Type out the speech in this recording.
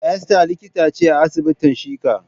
Esther likita ce a asibitin shika.